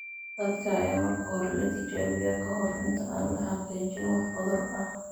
Dadka ayaa marka hore la tijaabiyaa ka hor inta aan la xaqiijin wax cudur ah.